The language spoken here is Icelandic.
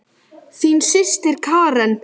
Þín systir Karen.